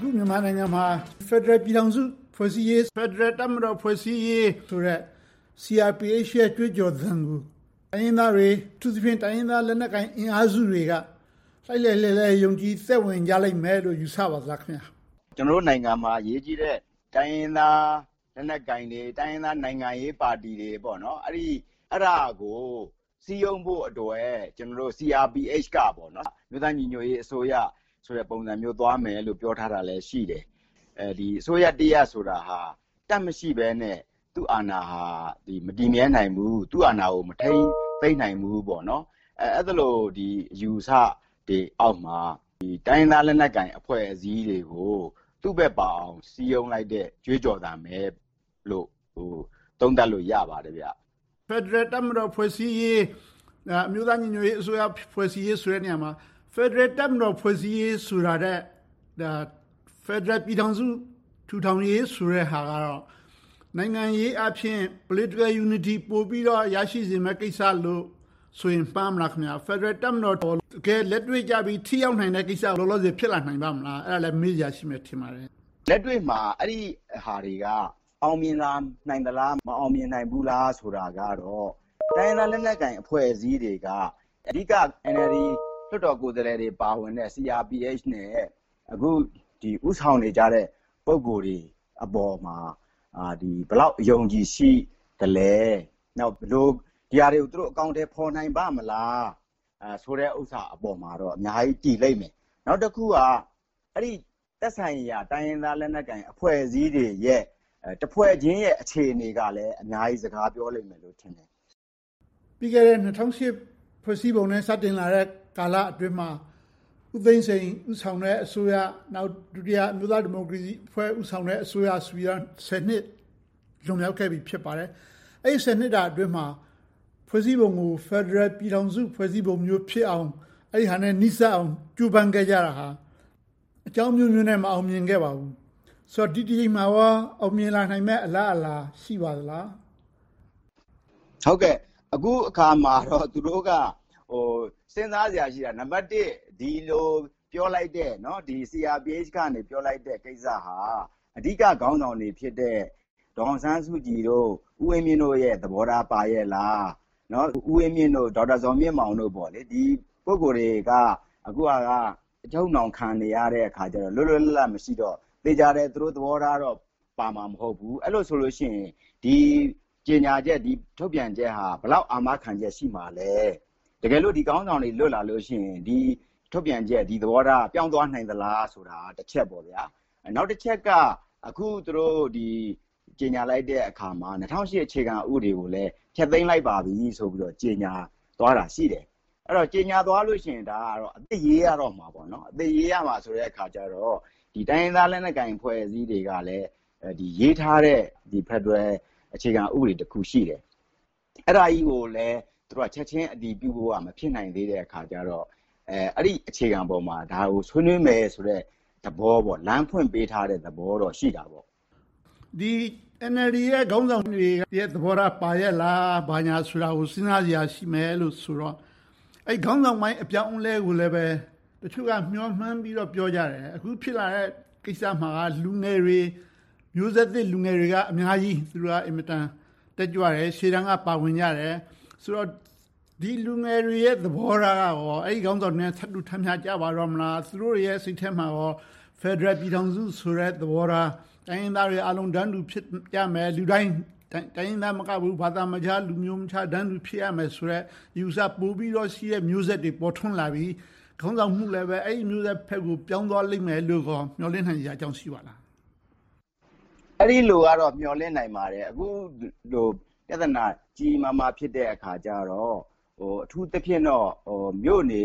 ခု မြန်မာနိုင်ငံမှာ ဖယ်ဒရယ်ပြည်ထောင်စု ဖွဲ့စည်းရေး၊ ဖယ်ဒရယ်တပ်မတော် ဖွဲ့စည်းရေးဆိုတဲ့ CRPH ရဲ့ ကြွေးကြော်သံကို တိုင်းရင်းသားတွေ၊ အထူးသဖြင့် တိုင်းရင်းသားလက်နက်ကိုင် အင်အားစုတွေက လှိုက်လှိုက်လှဲလှဲ ယုံကြည်သက်ဝင်ကြလိမ့်မယ်လို့ ယူဆပါလားခင်များ။ ကျနော်တို့နိုင်ငံမှာ အရေးကြီးတဲ့ တိုင်းရင်းသားလက်နက်ကိုင်တွေ၊ တိုင်းရင်းသားနိုင်ငံရေးပါတီတွေ အဲဒါကို စည်းရုံးဖို့အတွက် CRPH က အမျိုးသားညီညွှတ်ရေးအစိုးရ ပုံသဏ္ဍာန် သွားမယ်လို့ ပြောထားတာလည်း ရှိတယ်။ အစိုးရတရပ်ဆိုတာ တပ်မရှိဘဲနဲ့ သူ့အာဏာဟာ မတည်မြဲနိုင်ဘူး။ သူ့အာဏာကို မထိန်းသိမ်းနိုင်ဘူး။ အဲဒီလို အယူအဆတွေအောက်မှာ တိုင်းရင်းသားလက်နက်ကိုင် အဖွဲ့အစည်းတွေကို သူ့ဘက်ပါအောင် စည်းရုံးလိုက်တဲ့ ကြွေးကြော်သံပဲလို့ သုံးသပ်လို့ရပါတယ်။ ဖယ်ဒရယ်တပ်မတော် ဖွဲ့စည်းရေး၊ အမျိုးသားညီညွှတ်ရေးအစိုးရ ဖွဲ့စည်းရေးဆိုတဲ့နေရာမှာ ဖယ်ဒရယ်တပ်မတော် ဖွဲ့စည်းရေးဆိုတာထက် ဖယ်ဒရယ်ပြည်ထောင်စု ထူထောင်ရေးဆိုတဲ့ဟာက နိုင်ငံရေးအားဖြင့် Political Unity ပိုပြီးတော့ ရရှိစေမယ့်ကိစ္စလို့ဆိုရင် မှားမလား။ ဖယ်ဒရယ်တပ်မတော်က တကယ်လက်တွေ့ကျပြီး ထိရောက်နိုင်တဲ့ကိစ္စ လောလောဆယ် ဖြစ်လာနိုင်ပါ့မလား။ အဲဒါလဲ မေးစရာရှိမယ် ထင်ပါတယ်။ လက်တွေ့မှာ အဲဒီဟာတွေက အောင်မြင်လာနိုင်မလား၊ မအောင်မြင်နိုင်ဘူးလား ဆိုတာကတော့ တိုင်းရင်းသားလက်နက်ကိုင် အဖွဲ့အစည်းတွေက အဓိက NLD လွှတ်တော်ကိုယ်စားလှယ်တွေ ပါဝင်တဲ့ CRPH နဲ့ အခု ဦးဆောင်နေကြတဲ့ ပုဂ္ဂိုလ်တွေအပေါ်မှာ ဘယ်လောက် အယုံအကြည်ရှိသလဲ။ ဒီဟာတွေကို သူတို့ ဘယ်လို အကောင်အထည် ဖော်နိုင်ပါ့မလား ဆိုတဲ့ဟာပေါ်မှာတော့ အများကြီးတည်လိမ့်မယ်။ နောက်တခုက အဲဒီသက်ဆိုင်ရာ တိုင်းရင်းသား လက်နက်ကိုင်အဖွဲ့အစည်းတွေရဲ့ တဖွဲ့ချင်းရဲ့ အခြေအနေကလဲ အများကြီး စကားပြောလိမ့်မယ်ထင်တယ်။ ၂၀၀၈ ဖွဲ့စည်းပုံနဲ့ စတင်လာတဲ့ကာလအတွင်းမှာ ဦးသိန်းစိန် ဦးဆောင်တဲ့အစိုးရ။ နောက် ဒုတိယ အမျိုးသားဒီမိုကရေစီ ဦးဆောင်တဲ့ အစိုးရဆိုပြီးတော့ ဆယ်နှစ် လွန်မြောက်ခဲ့ပြီ ဖြစ်ပါတယ်။ အဲဒီ ဆယ်နှစ်တာအတွင်းမှာ ဖွဲ့စည်းပုံကို ဖယ်ဒရယ်ပြည်ထောင်စု ဖွဲ့စည်းပုံမျိုးဖြစ်အောင် အဲဒါနဲ့ နီးစပ်အောင် ကြိုးပမ်းခဲ့ကြတာဟာ အကြောင်းအမျိုးမျိုးနဲ့ မအောင်မြင်ခဲ့ပါဘူး။ ဆိုတော့ ဒီတကြိမ်မှာကော အောင်မြင်လာနိုင်မယ့် အလားအလာ ရှိပါသလား။ အခုအခါမှာတော့ သူတို့က စဉ်းစားစရာရှိတာက ဒီလိုပြောလိုက်တဲ့ CRPH က ပြောလိုက်တဲ့ကိစ္စဟာ အဓိကခေါင်းဆောင်တွေဖြစ်တဲ့ ဒေါ်အောင်ဆန်းစုကြည်၊ ဦးဝင်းမြင့်တို့ရဲ့ သဘောထားပါရဲ့လား။ ဦးဝင်းမြင့်၊ ဒေါက်တာဇော်မြင့်မောင်တို့ ဒီပုဂ္ဂိုလ်တွေက အခုအချိန်မှာ အချုပ်အနှောင်းခံနေရတော့ လွတ်လွတ်လပ်လပ် မရှိတော့၊ သေချာတယ် သူတို့သဘောထားတော့ ပါမှာမဟုတ်ဘူး။ အဲဒီလိုဆိုရင် ဒီကြေညာချက်၊ ဒီထုတ်ပြန်ချက်ဟာ ဘယ်လောက်အာမခံချက် ရှိမှာလဲ။ တကယ့်လို့ ဒီခေါင်းဆောင်တွေ လွတ်လာလို့ရှိရင် ဒီထုတ်ပြန်ချက်၊ သဘောထားက ပြောင်းသွားနိုင်သလားဆိုတာ တချက်ပေါ့။ နောက်တချက်က အခု ကြေညာလိုက်တဲ့အခါမှာ ၂၀၀၈ အခြေခံဥပဒေကိုလည်း ဖျက်သိမ်းလိုက်ပါပြီဆိုပြီး ကြေညာလိုက်တာ ရှိတယ်။ အဲဒီလို ကြေညာသွားလို့ရှိရင် အသစ်ရေးရတော့မယ်။ အသစ်ရေးရတော့မယ်ဆိုတော့ တိုင်းရင်းသားလက်နက်ကိုင် အဖွဲ့အစည်းတွေကလဲ ရေးထားတဲ့ ဖယ်ဒရယ်အခြေခံဥပဒေတခု ရှိတယ်။ အဲဒါကြီးကိုလဲ ချက်ချင်းအတည်ပြုဖို့က မဖြစ်နိုင်သေးတဲ့အခါကြတော့ အဲဒီအခြေခံပေါ်မှာ ဒါကိုဆွေးနွေးမယ်ဆိုတဲ့ လမ်းဖွင့်ပေးထားတဲ့သဘောတော့ ရှိတာပေါ့။ NLD ရဲ့ ခေါင်းဆောင်တွေရဲ့ သဘောထား ပါရဲ့လား၊ ဘာညာကို စဉ်းစားစရာရှိမယ်လို့ဆိုတော့ အဲဒီခေါင်းဆောင်ပိုင်း အပြောင်းအလဲကိုလဲ တချို့က မျှော်မှန်းပြီးတော့ ပြောကြတယ်။ အခုဖြစ်လာတဲ့ကိစ္စမှာက လူငယ်တွေ၊ မျိုးဆက်သစ်လူငယ်တွေက အများကြီးတက်ကြွတယ်။ ရှေ့တန်းကနေ ပါဝင်ကြတယ်ဆိုတော့ ဒီလူငယ်တွေရဲ့ သဘောထားကရော အဲဒီခေါင်းဆောင်တွေရဲ့ သဘောထားနဲ့ ထပ်တူထပ်မျှကျတော့မလား။ သူတို့တွေရဲ့ စိတ်ထဲမှာ ဖယ်ဒရယ်ပြည်ထောင်စုဆိုတဲ့ သဘောထား။ တိုင်းရင်းသားတွေအားလုံး တန်းတူဖြစ်ရမယ်။ လူတိုင်းလူတိုင်း တိုင်းရင်းသားမကဘူး၊ ဘာသာခြား၊ လူမျိုးမခြား တန်းတူဖြစ်ရမယ်ဆိုတဲ့ အယူအဆ ပိုပြီးတော့ရှိမယ့် မျိုးဆက်တွေ ပေါ်ထွန်းလာပြီ၊ ခေါင်းဆောင်မှုလဲ အဲဒီမျိုးဆက်ဘက်ကို ပြောင်းသွားလိမ့်မယ်လို့ မျှော်လင့်နိုင်စရာအကြောင်း ရှိပါသလား။ အဲဒီလိုကတော့ မျှော်လင့်နိုင်ပါတယ်။ အခုလို ပြဿနာ ကြီးကြီးမားမား ဖြစ်နေတဲ့အခါကြတော့ အထူးသဖြင့်တော့ မြို့နေ